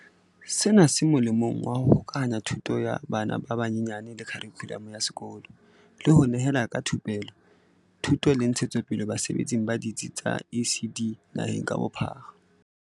Sena se molemong wa ho hokahanya thuto ya bana ba banyenyane le kha rikhulamo ya sekolo, le ho nehelana ka thupelo, thuto le ntshetsopele basebetsing ba ditsi tsa ECD naheng ka bophara.